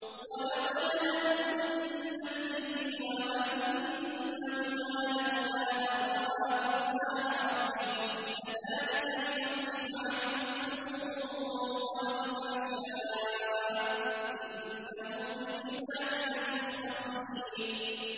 وَلَقَدْ هَمَّتْ بِهِ ۖ وَهَمَّ بِهَا لَوْلَا أَن رَّأَىٰ بُرْهَانَ رَبِّهِ ۚ كَذَٰلِكَ لِنَصْرِفَ عَنْهُ السُّوءَ وَالْفَحْشَاءَ ۚ إِنَّهُ مِنْ عِبَادِنَا الْمُخْلَصِينَ